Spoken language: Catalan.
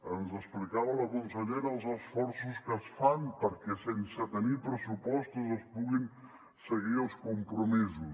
ens explicava la consellera els esforços que es fan perquè sense tenir pressupostos es puguin seguir els compromisos